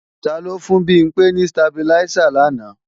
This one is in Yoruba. Taló fún Bimpé ní stabiláísà làná?